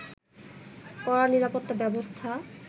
কড়া নিরাপত্তা ব্যবস্থা